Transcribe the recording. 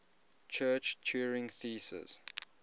church turing thesis